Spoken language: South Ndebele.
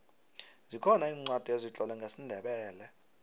zikhona iincwadi ezitlolwe ngesindebele